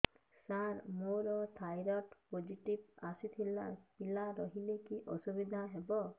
ସାର ମୋର thyroid positive ଆସିଥିଲା ପିଲା ରହିଲେ କି ଅସୁବିଧା ହେବ